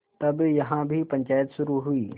तब यहाँ भी पंचायत शुरू हुई